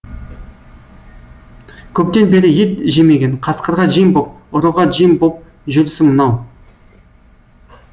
көптен бері ет жемеген қасқырға жем боп ұрыға жем боп жүрісі мынау